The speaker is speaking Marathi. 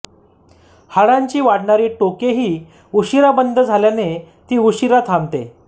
हाडांची वाढणारी टोकेही उशीरा बंद झाल्याने ती उशीरा थांबते